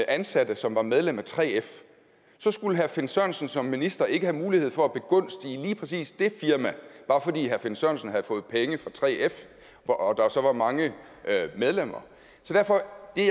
ansatte som var medlem af 3f så skulle herre finn sørensen som minister ikke have mulighed for at begunstige lige præcis det firma bare fordi herre finn sørensen havde fået penge fra 3f og der så var mange medlemmer så derfor er